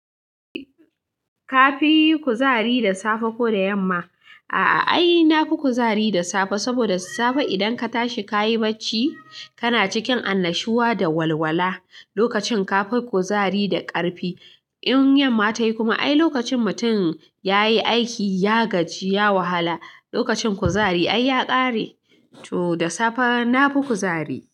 Ka fi yi kuzari da safe ko da yamma? A'a, ai nafi kuzari da safe saboda safe idan ka tashi, kayi bacci, kana cikin annashuwa da walwala. Lokacin ka fi kuzari da ƙarfi, in yamma tayi kuma ai lokacin mutum ya yi aiki, ya gaji ya wahala. Lokacin kuzari ai ya ƙare, to da safe na fi kuzari.